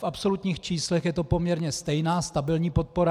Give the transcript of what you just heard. V absolutních číslech je to poměrně stejná stabilní podpora.